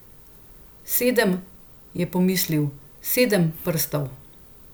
Sedem, je pomislil, sedem prstov.